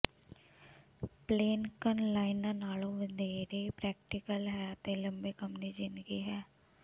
ਪਲੈਨਕਨ ਲਾਈਨਾਂ ਨਾਲੋਂ ਵਧੇਰੇ ਪ੍ਰੈਕਟੀਕਲ ਹੈ ਅਤੇ ਲੰਮੇਂ ਕੰਮ ਦੀ ਜ਼ਿੰਦਗੀ ਹੈ